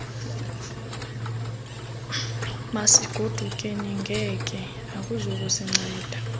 masigodukeni genge akuzukusinceda